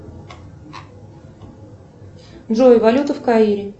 джой валюта в каире